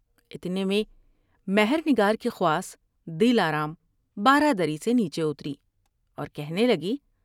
اتنے میں مہر نگار کی خواص دل آرام بارہ دری سے نیچے اتری اور کہنے لگی ۔